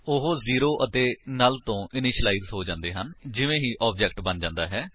ਉਹ 0 ਅਤੇ ਨੁੱਲ ਤੋ ਇਨਿਸ਼ਿਲਾਇਜ ਹੋ ਜਾਂਦੇ ਹਨ ਜਿਵੇਂ ਹੀ ਆਬਜੇਕਟ ਬਣ ਜਾਂਦਾ ਹੈ